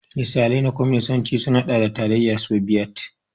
Misalai na Kwaminisanci sun haɗa da Tarayyar Sobiyet.